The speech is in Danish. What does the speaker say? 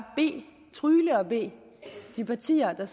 trygle og bede de partier der er